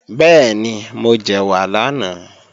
Bẹ́ẹ̀ni, mo jẹ̀wà lánàá